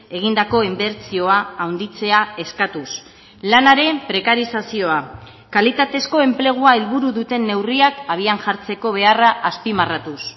egindako inbertsioa handitzea eskatuz lanaren prekarizazioa kalitatezko enplegua helburu duten neurriak habian jartzeko beharra azpimarratuz